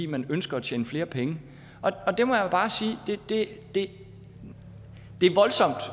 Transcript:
man ønsker at tjene flere penge og der må jeg bare sige at det